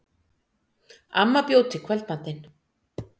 Amma bjó til kvöldmatinn.